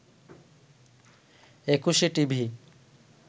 Ekushey TV